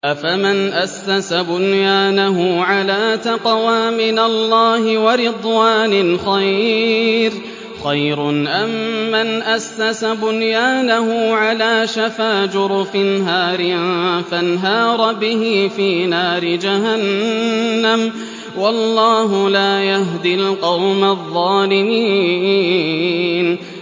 أَفَمَنْ أَسَّسَ بُنْيَانَهُ عَلَىٰ تَقْوَىٰ مِنَ اللَّهِ وَرِضْوَانٍ خَيْرٌ أَم مَّنْ أَسَّسَ بُنْيَانَهُ عَلَىٰ شَفَا جُرُفٍ هَارٍ فَانْهَارَ بِهِ فِي نَارِ جَهَنَّمَ ۗ وَاللَّهُ لَا يَهْدِي الْقَوْمَ الظَّالِمِينَ